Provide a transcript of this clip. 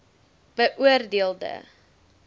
beoor deel de